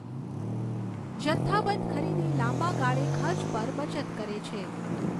જથ્થાબંધ ખરીદી લાંબા ગાળે ખર્ચ પર બચત કરે છે.